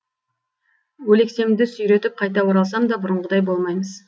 өлексемді сүйретіп қайта оралсам да бұрынғыдай болмаймыз